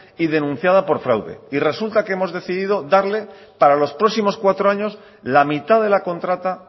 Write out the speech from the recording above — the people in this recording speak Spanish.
y denunciada por fraude y resulta que hemos decidido darle para los próximos cuatro años la mitad de la contrata